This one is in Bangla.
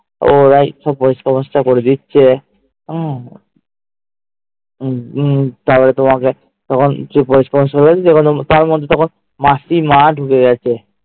ওরাই সব পরিষ্কার করে দিচ্ছে হম উম তারপর তোমাকে যে তার মধ্যে আবার মাসি মা ঢুকে গেছে